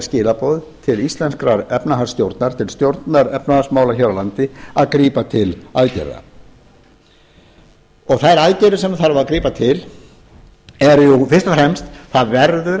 skilaboð til íslenskrar efnahagsstjórnar til stjórnar efnahagsmála hér á landi að grípa til aðgerða þær aðgerðir sem þarf að grípa til eru fyrst og fremst það verður